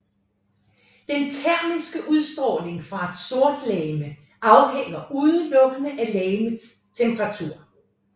Den termiske udstråling fra et sortlegeme afhænger udelukkende af legemets temperatur